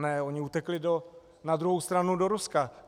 Ne, oni utekli na druhou stranu do Ruska.